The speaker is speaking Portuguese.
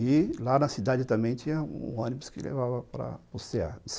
E lá na cidade também tinha um ônibus que levava para o cê a